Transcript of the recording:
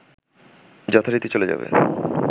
যথারীতি চলে যাবে